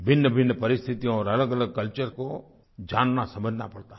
भिन्नभिन्न परिस्थितियों और अलगअलग कल्चर को जाननासमझना पड़ता है